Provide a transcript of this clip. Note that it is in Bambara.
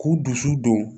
K'u dusu don